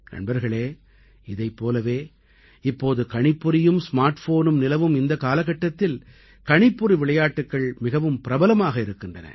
நண்பர்களே இதைப் போலவே இப்போது கணிப்பொறியும் ஸ்மார்ட்ஃபோனும் நிலவும் இந்தக் காலகட்டத்தில் கணிப்பொறி விளையாட்டுக்கள் மிகவும் பிரபலமாக இருக்கின்றன